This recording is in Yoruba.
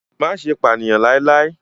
Má ṣe pànìyàn láíláí!